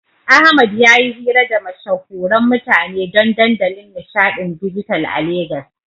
Ahmad yayi hira da mashahuran mutane don dandalin nishaɗin dijital a Legas.